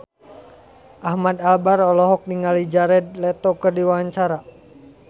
Ahmad Albar olohok ningali Jared Leto keur diwawancara